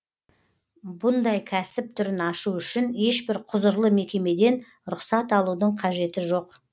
бұндай кәсіп түрін ашу үшін ешбір құзырлы мекемеден рұқсат алудың қажеті жоқ